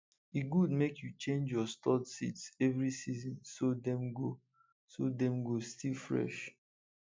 e good make you change your stored seeds every season so dem go so dem go still fresh